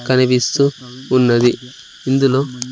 కనిపిస్తూ ఉన్నది ఇందులో--